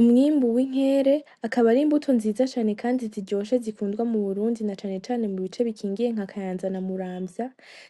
Umwimbu w’inkere akaba ari imbuto nziza cane kandi ziryoshe zikundwa mu Burundi na cane cane mu bice bikingiye nka kayanza na Muramvya ,